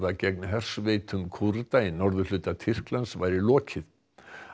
gegn hersveitum Kúrda í norðurhluta Tyrklands væri lokið